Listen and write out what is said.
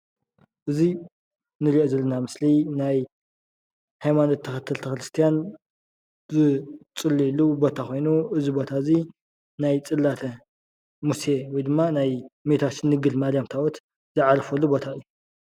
እዚ ንሪኦ ዘለና ምስሊ ናይ ሃይማኖት ተኸተልቲ ክርስትያን ዝፅልይሉ ቦታ ኮይኑ እዚ ቦታ እዙይ ናይ ፅላተ ሙሴ ወይ ድማ ናይ እመቤታችን ድንግል ማርያም ታቦት ዝዓረፈሉ ቦታ እዩ፡፡